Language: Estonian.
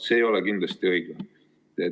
See ei ole kindlasti õige.